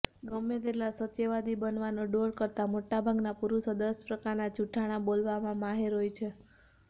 ગમે તેટલા સત્યવાદી બનવાનો ડોળ કરતા મોટાભાગના પુરુષો દસ પ્રકારના જુઠ્ઠાણા બોલવામાં માહેર હોય છે